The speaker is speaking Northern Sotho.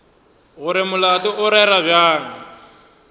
gore molato o rerwa bjang